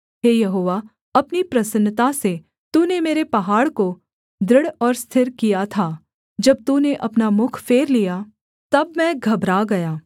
हे यहोवा अपनी प्रसन्नता से तूने मेरे पहाड़ को दृढ़ और स्थिर किया था जब तूने अपना मुख फेर लिया तब मैं घबरा गया